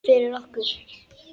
Fyrir okkur.